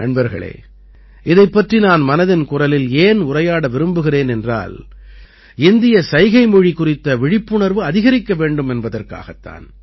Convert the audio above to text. நண்பர்களே இதைப் பற்றி நான் மனதின் குரலில் ஏன் உரையாட விரும்புகிறேன் என்றால் இந்திய சைகைமொழி குறித்த விழிப்புணர்வு அதிகரிக்க வேண்டும் என்பதற்காகத் தான்